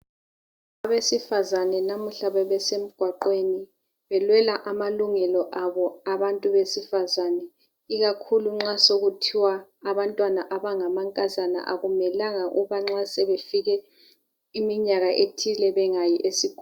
Abesifazana namuhla bebesemgwaqweni. Belwela amalungelo abo, abantu besifazana.. Ikakhulu nxa sekuthiwa abantwana abangamankazana, nxa sebefike iminyaka ethile, bangayi esikolo.